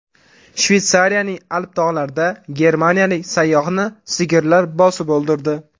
Shveysariyaning Alp tog‘larida germaniyalik sayyohni sigirlar bosib o‘ldirdi.